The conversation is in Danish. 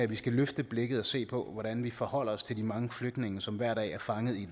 vi skal løfte blikket og se på hvordan vi forholder os til de mange flygtninge som hver dag er fanget i